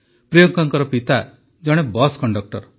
ପ୍ରିୟଙ୍କାଙ୍କ ପିତା ଜଣେ ବସ୍ କଣ୍ଡକ୍ଟର